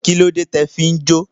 Kílódé tí o fi jó?